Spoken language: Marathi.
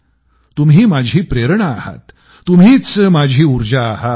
तुम्ही माझी प्रेरणा आहात तुम्हीच माझी ऊर्जा आहात